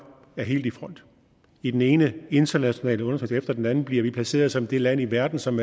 er helt i front i den ene internationale undersøgelse efter den anden bliver vi placeret som det land i verden som